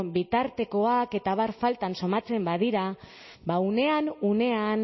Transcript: bitartekoak eta abar falta somatzen badira ba unean unean